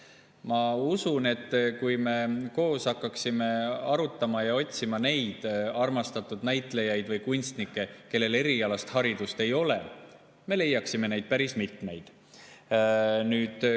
Ma usun, et kui me koos hakkaksime arutama ja otsima neid armastatud näitlejaid või kunstnikke, kellel erialast haridust ei ole, siis me leiaksime neid päris mitmeid.